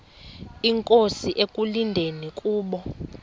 inkosi ekulindele kubo